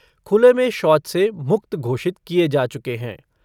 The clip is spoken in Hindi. खुले में शौच से मुक्त घोषित किए जा चुके है।